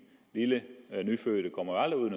lille nyfødte kommer aldrig ud i